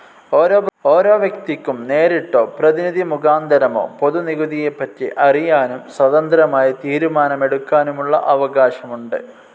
ഓരോ വ്യക്തിക്കും നേരിട്ടോ, പ്രതിനിധി മുഖാന്തരമോ പൊതു നികുതിയെപ്പറ്റി അറിയാനും സ്വതന്ത്രമായി തീരുമാനമെടുക്കാനുമുള്ള അവകാശമുണ്ട്.